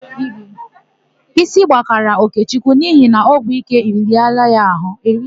Ísí gbakara Okechukwu n'ihi na ọgwụike eriela ya àhụ́.